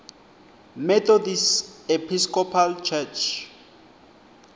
methodist episcopal church